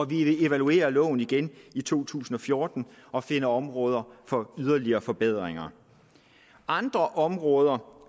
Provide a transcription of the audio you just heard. vi evaluerer loven igen i to tusind og fjorten og finder områder for yderligere forbedringer andre områder